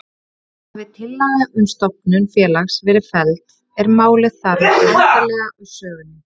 Hafi tillaga um stofnun félags verið felld er málið þar með endanlega úr sögunni.